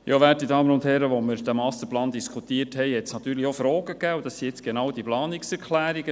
Als wir diesen Masterplan diskutierten, gab es natürlich auch Fragen, und das sind nun genau diese Planungserklärungen.